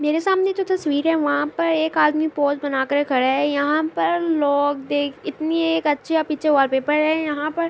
میرے سامنے جو تشویر ہے وہاں پر ایک آدمی پوسے بنا کر کھڈا ہے۔ یہاں پر لوگ دیکھ اتنی اچھی ہے پیچھے وال پیپر ہے۔